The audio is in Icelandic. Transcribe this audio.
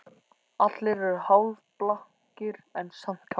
Allir eru hálfblankir en samt kátir